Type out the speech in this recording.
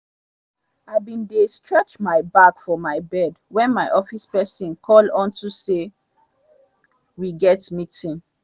i bin dey stretch my back for mi bed wen my office pesin call unto say we get meetin